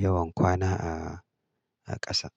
yawan kwana a ƙasa.